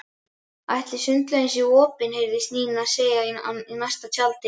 Ætli sundlaugin sé opin? heyrðist Nína segja í næsta tjaldi.